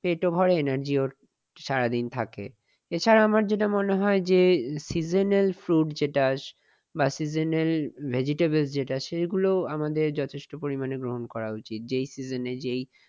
পেটও ভরে energy ও সারাদিন থাকে। এছাড়া আমার যেটা মনে হয় যে seasonal fruit যেটা আছে বা seasonal vegetable যেটা সেগুলো আমাদের যথেষ্ট পরিমাণে গ্রহণ করা উচিত । যেই season এ যেই